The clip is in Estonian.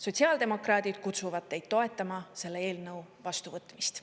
Sotsiaaldemokraadid kutsuvad teid toetama selle eelnõu vastuvõtmist.